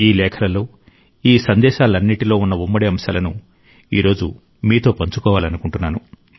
ఈ లేఖలలో ఈ సందేశాలన్నింటిలో ఉన్న ఉమ్మడి అంశాలను ఈరోజు మీతో పంచుకోవాలనుకుంటున్నాను